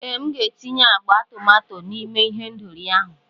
Ee, M ga-etinye agba tomato n'ime ihendori ahụ.